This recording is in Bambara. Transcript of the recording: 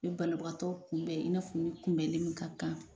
U bɛ banabagatɔ i n'a fɔu kunbɛnni min ka kan.